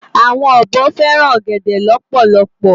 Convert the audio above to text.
Awòn òbò fèrán ògèdè lòpòlòpò